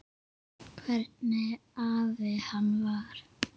Hvernig afi hann var.